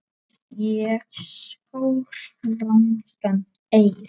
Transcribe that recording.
Ég sór rangan eið.